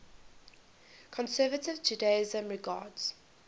conservative judaism regards